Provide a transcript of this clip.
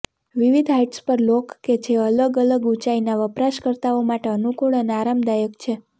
વિવિધ હાઇટ્સ પર લોક કે જે અલગ અલગ ઊંચાઈના વપરાશકર્તાઓ માટે અનુકૂળ અને આરામદાયક છે